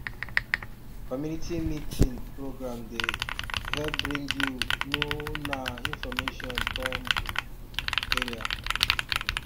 community meeting program dey um help bring you know na information come um area um